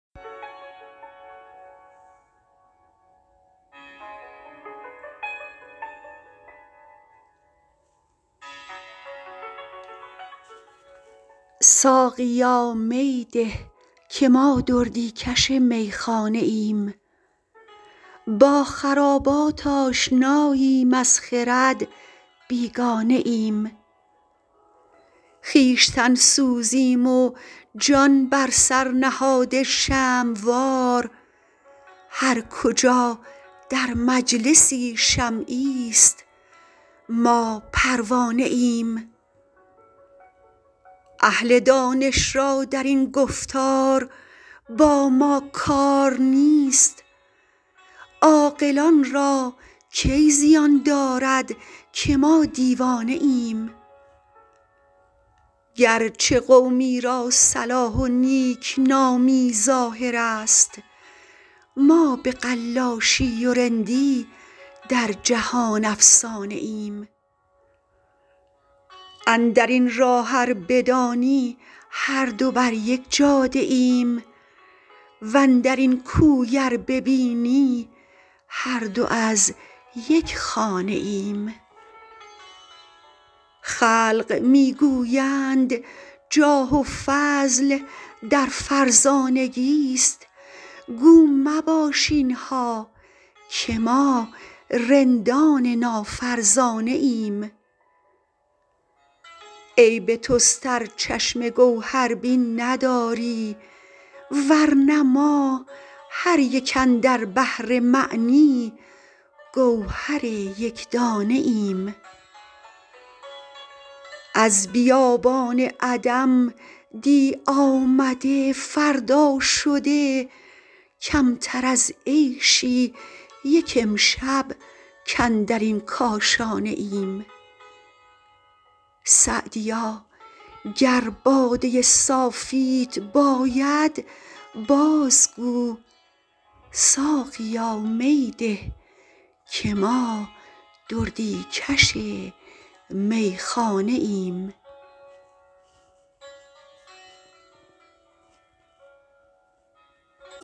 ساقیا می ده که ما دردی کش میخانه ایم با خرابات آشناییم از خرد بیگانه ایم خویشتن سوزیم و جان بر سر نهاده شمع وار هر کجا در مجلسی شمعیست ما پروانه ایم اهل دانش را در این گفتار با ما کار نیست عاقلان را کی زیان دارد که ما دیوانه ایم گرچه قومی را صلاح و نیکنامی ظاهر است ما به قلاشی و رندی در جهان افسانه ایم اندر این راه ار بدانی هر دو بر یک جاده ایم واندر این کوی ار ببینی هر دو از یک خانه ایم خلق می گویند جاه و فضل در فرزانگیست گو مباش اینها که ما رندان نافرزانه ایم عیب توست ار چشم گوهربین نداری ورنه ما هر یک اندر بحر معنی گوهر یکدانه ایم از بیابان عدم دی آمده فردا شده کمتر از عیشی یک امشب کاندر این کاشانه ایم سعدیا گر باده صافیت باید باز گو ساقیا می ده که ما دردی کش میخانه ایم